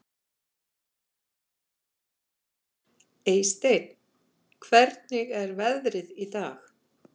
Eysteinn, hvernig er veðrið í dag?